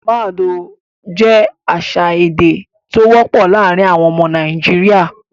Mad oh' jẹ́ àṣà èdè dídá tó wọ́pọ̀ láàárin àwọn ọmọ Nàìjíríà.